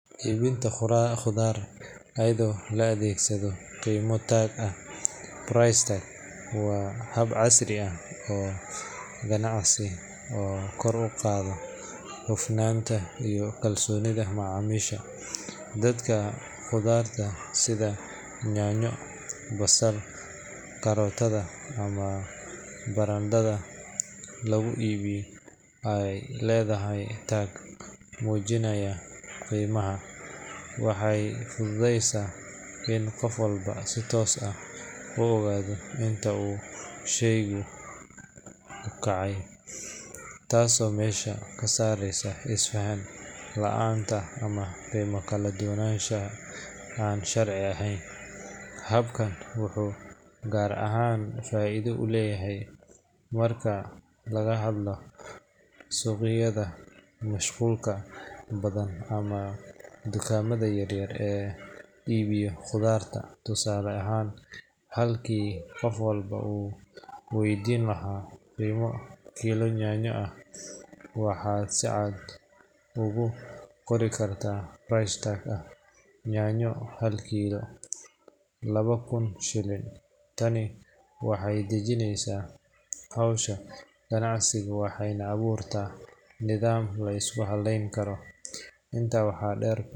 Iibinta khudaarta iyadoo la adeegsado qiimo-tag ah (price tag) waa hab casri ah oo ganacsi oo kor u qaada hufnaanta iyo kalsoonida macaamiisha. Marka khudaarta sida yaanyo, basal, karootada, ama barandhada lagu iibinayo ay leedahay tag muujinaya qiimaha, waxay fududeysaa in qof walba si toos ah u ogaado inta uu sheygu ku kacayo, taasoo meesha ka saaraysa isfahan la’aanta ama qiime kala duwanaansho aan sharci ahayn. Habkan wuxuu gaar ahaan faa’iido u leeyahay marka laga hadlayo suuqyada mashquulka badan ama dukaamada yaryar ee iibiyo khudaarta. Tusaale ahaan, halkii qof walba uu waydiin lahaa qiimaha kiilo yaanyo ah, waxaad si cad ugu qori kartaa price tag ah “Yaanyo – hal kiilo = labo kun shilin”. Tani waxay dedejisaa howsha ganacsiga waxayna abuurtaa nidaam la isku halleyn karo. Intaa waxaa dheer.